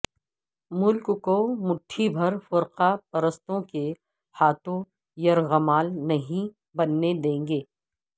ملک کو مٹھی بھر فرقہ پرستوں کے ہاتھوں یرغمال نہیں بننے دیں گے